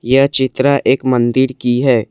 यह चित्र एक मंदिर की है।